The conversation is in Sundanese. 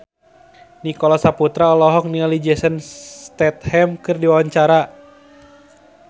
Nicholas Saputra olohok ningali Jason Statham keur diwawancara